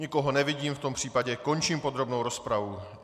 Nikoho nevidím, v tom případě končím podrobnou rozpravu.